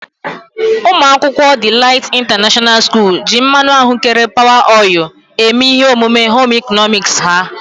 Umuakwukwo Delight International school ji mmanụ ahụ́kere Power oil eme ihe omume Home ịkọnọmiks ha.